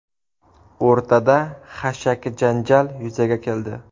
O‘rtada xashaki janjal yuzaga keldi.